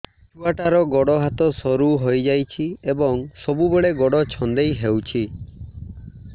ଛୁଆଟାର ଗୋଡ଼ ହାତ ସରୁ ହୋଇଯାଇଛି ଏବଂ ସବୁବେଳେ ଗୋଡ଼ ଛଂଦେଇ ହେଉଛି